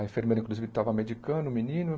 A enfermeira, inclusive, estava medicando o menino.